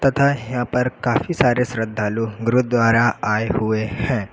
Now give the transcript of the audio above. तथा हेया पर काफी सारे श्रद्धालु गुरुद्वारा आए हुए हैं।